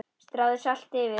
Stráið salti yfir.